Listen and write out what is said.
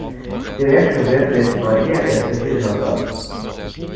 тележки врезались в барьер и отскочили назад